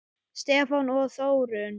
Stefán og Þórunn.